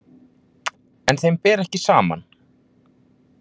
En þeim ber ekki saman.